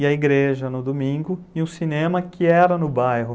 e a igreja no domingo, e o cinema que era no bairro.